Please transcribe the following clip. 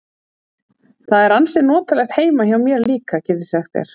Það er ansi notalegt heima hjá mér líka, get ég sagt þér.